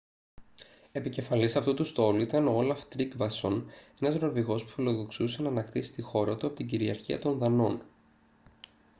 επικεφαλής αυτού του στόλου ήταν ο όλαφ τρίγκβασον ένας νορβηγός που φιλοδοξούσε να ανακτήσει τη χώρα του από την κυριαρχία των δανών